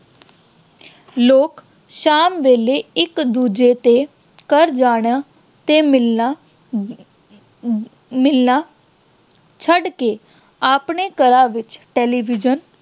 ਲੋਕ ਸ਼ਾਮ ਵੇਲੇ ਇੱਕ-ਦੂਜੇ ਦੇ ਘਰ ਜਾਣਾ ਤੇ ਮਿਲਣਾ ਅਮ ਮਿਲਣਾ ਛੱਡ ਕੇ ਆਪਣੇ ਘਰਾਂ ਵਿੱਚ television